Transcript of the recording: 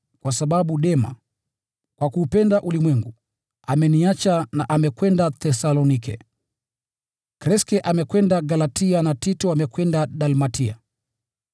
kwa sababu Dema, kwa kuupenda ulimwengu, ameniacha na amekwenda Thesalonike. Kreske amekwenda Galatia na Tito amekwenda Dalmatia.